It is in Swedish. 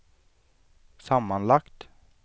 sammanlagt